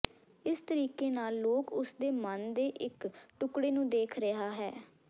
ਇਸ ਤਰੀਕੇ ਨਾਲ ਲੋਕ ਉਸ ਦੇ ਮਨ ਦੇ ਇੱਕ ਟੁਕੜੇ ਨੂੰ ਦੇਖ ਰਿਹਾ ਹੈ